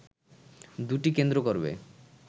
দুটি কেন্দ্র করবে